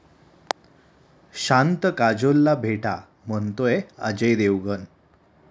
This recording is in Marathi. शांत काजोलला भेटा, म्हणतोय अजय देवगण!